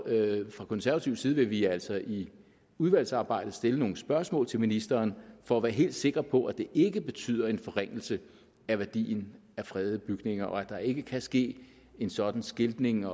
fra konservativ side vil vi altså i udvalgsarbejdet stille nogle spørgsmål til ministeren for at være helt sikre på at det ikke betyder en forringelse af værdien af fredede bygninger og at der ikke kan ske en sådan skiltning